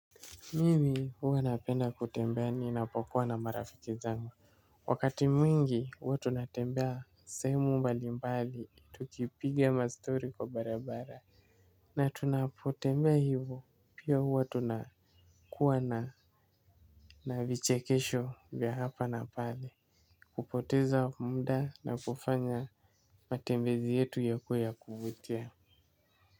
Mimi huwa napenda kutembea ninapokuwa na marafiki zangu. Wakati mwingi huwa tunatembea sehemu mbali mbali tukipiga mastory kwa barabara. Na tunapotembea hivo pia huwa tunakuwa na navichekesho vya hapa na pale. Kupoteza mda na kufanya matembezi yetu yakuwe ya kuvutia.